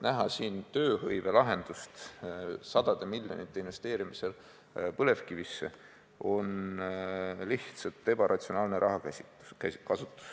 Näha siin tööhõiveprobleemi lahendusena sadade miljonite investeerimist põlevkivisse, on lihtsalt ebaratsionaalne rahakasutus.